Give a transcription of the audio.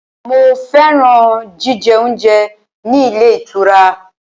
Mo fẹ́ràn jíjẹ oúnjẹ ní ilé ìtura.